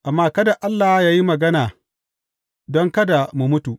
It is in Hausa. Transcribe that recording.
Amma kada Allah ya yi mana magana, don kada mu mutu.